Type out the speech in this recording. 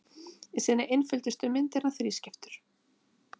Í sinni einföldustu mynd er hann þrískiptur.